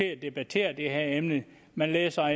at debattere det her emne man læser